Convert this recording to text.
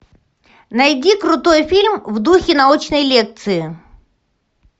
найди крутой фильм в духе научной лекции